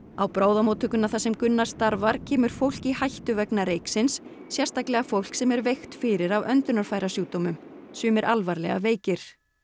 á bráðamóttökuna þar sem Gunnar starfar kemur fólk í hættu vegna reyksins sérstaklega fólk sem er veikt fyrir af öndunarfærasjúkdómum sumir alvarlega veikir